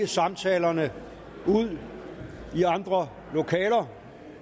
samtalerne ude i andre lokaler